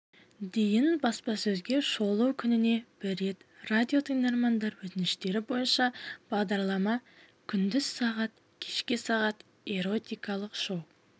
дейін баспасөзге шолу күніне бір рет радиотыңдармандар өтініштері бойынша бағдарлама күндіз сағат кешке сағат эротикалық шоу